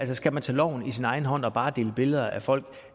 det skal man tage loven i sin egen hånd og bare dele billeder af folk